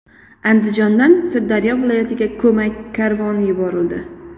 Andijondan Sirdaryo viloyatiga ko‘mak karvoni yuborildi.